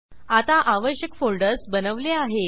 आता आवश्यक फोल्डर्स बनवले आहेत